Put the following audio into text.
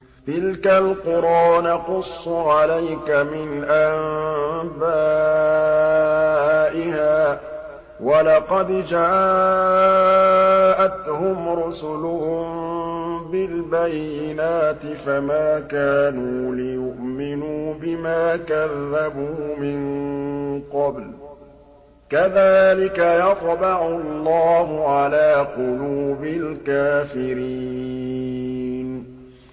تِلْكَ الْقُرَىٰ نَقُصُّ عَلَيْكَ مِنْ أَنبَائِهَا ۚ وَلَقَدْ جَاءَتْهُمْ رُسُلُهُم بِالْبَيِّنَاتِ فَمَا كَانُوا لِيُؤْمِنُوا بِمَا كَذَّبُوا مِن قَبْلُ ۚ كَذَٰلِكَ يَطْبَعُ اللَّهُ عَلَىٰ قُلُوبِ الْكَافِرِينَ